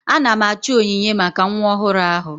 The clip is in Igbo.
Ana m achọ onyinye maka nwa ọhụrụ ahụ.